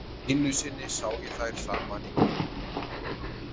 Einu sinni sá ég þær saman í Kringlunni.